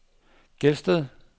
Gelsted